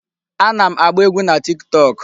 Ana m agba egwu na Tiktok.